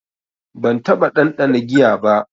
Ban taɓa ɗanɗana giya ba.